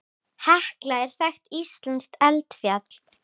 Hekla er þekkt íslenskt eldfjall.